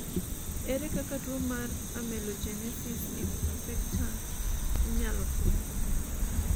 ere kaka tuo mar amelogenesis imperfecta inyalo fweny?